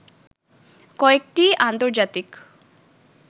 কয়েকটি আন্তজার্তিক